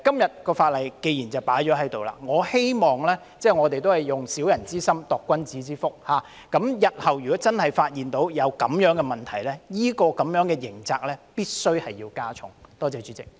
所以，既然今天已經提出法案，我希望我們只是以小人之心度君子之腹，日後如果真的發現這樣的問題，有關刑責必須加重。